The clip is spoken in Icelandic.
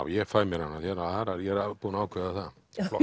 ég fæ mér hana ég er búinn að ákveða það